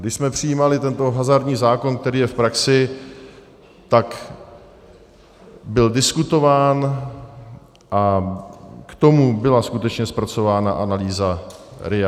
Když jsme přijímali tento hazardní zákon, který je v praxi, tak byl diskutován a k tomu byla skutečně zpracována analýza RIA.